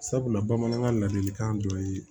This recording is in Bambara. Sabula bamanankan la ladilikan dɔ ye